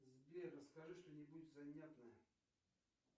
сбер расскажи что нибудь занятное